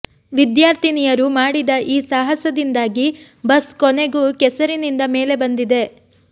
ವಿದ್ಯಾರ್ಥಿನಿಯರು ಮಾಡಿದ ಈ ಸಾಹಸದಿಂದಾಗಿ ಬಸ್ ಕೊನೆಗೂ ಕೆಸರಿನಿಂದ ಮೇಲೆ ಬಂದಿದೆ